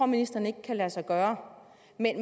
ministeren ikke kan lade sig gøre